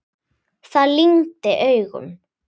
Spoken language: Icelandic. Það lygndi augum.